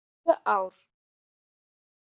Tvö ár!